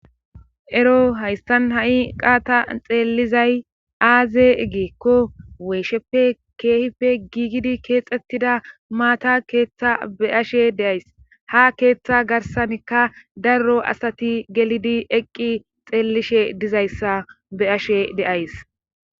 Ero haystan ha7i qaata xeellizay aaze egeekko weesheppe keehife giigidi keexxettida maata keeththa be ashe deays ha keeththa garsankka darro asati gelidi eqqi xeellishe dizayssa be ashe deays